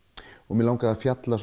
mig langaði að fjalla